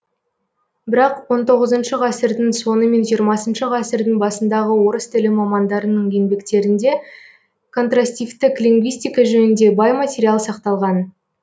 бірақ он тоғызыншы ғасырдың соңы мен жиырмасыншы ғасырдың басындағы орыс тілі мамандарының енбектерінде контрастивтік лингвистика жөнінде бай материал сақталған